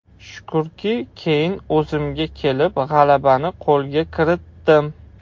Shukrki, keyin o‘zimga kelib, g‘alabani qo‘lga kiritdim.